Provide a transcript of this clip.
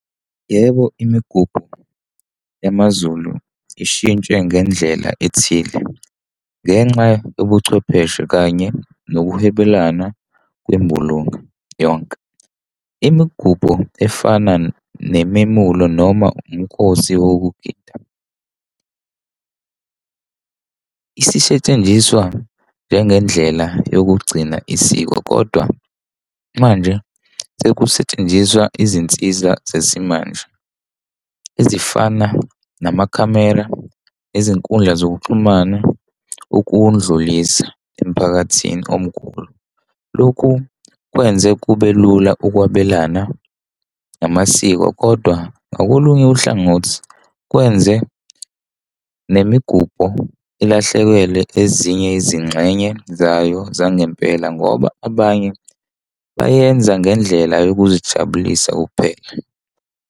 Yebo, imigubho yamaZulu ishintshwe ngendlela ethile ngenxa yobuchwepheshe kanye nokuhwebelana kwembulunga yonke. Imigubho efana nememulo noma umkhosi wokugida isetshenziswa njengendlela yokugcina isiko, kodwa manje sekusetshenziswa izinsiza zesimanje ezifana namakhamera izinkundla zokuxhumana, ukundlulisa emiphakathini omkhulu. Lokhu kwenze kube lula ukwabelana namasiko, kodwa ngakolunye uhlangothi, kwenze nemigubho ilahlekelwe ezinye izingxenye zayo zangempela, ngoba abanye bayenza ngendlela yokuzijabulisa kuphela.